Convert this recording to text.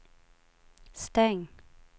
stäng